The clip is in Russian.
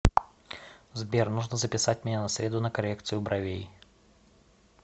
сбер нужно записать меня на среду на коррекцию бровей